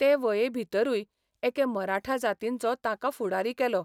ते व॑ये भितरूय एके मराठा जातींचो ताका फुडारी केलो.